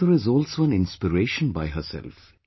A mother is also an inspiration by herself